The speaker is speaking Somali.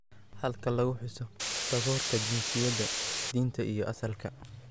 Halka lagu xuso takoorka jinsiyadda, diinta iyo asalka.